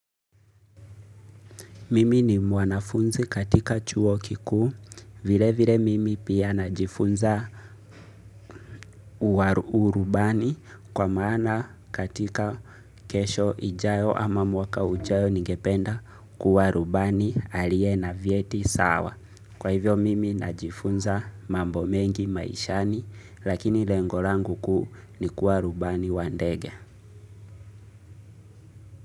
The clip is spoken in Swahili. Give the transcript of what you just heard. Mimi ni mwanafunzi katika chuo kikuu. Vilevile mimi pia najifunza urubani kwa maana katika kesho ijayo ama mwaka ujayo ningependa kuwa rubani aliye na vyeti sawa. Kwa hivyo mimi najifunza mambo mengi maishani lakini lengo langu kuu ni kuwa rubani wa ndege.